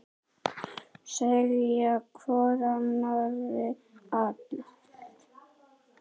Segja hvor annarri allt.